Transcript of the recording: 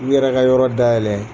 K' u yɛrɛ ka yɔrɔ dayɛlɛn